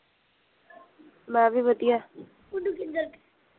ਮੈਂ ਵੀ ਵਧੀਆ